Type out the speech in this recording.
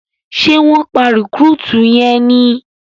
Ṣe wón pá recruit yén ní?